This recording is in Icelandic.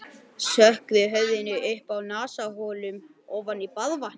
Sökkvi höfðinu upp að nasaholum ofan í baðvatnið.